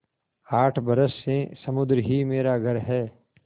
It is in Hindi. आठ बरस से समुद्र ही मेरा घर है